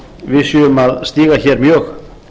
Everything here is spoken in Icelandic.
við séum að stíga hér mjög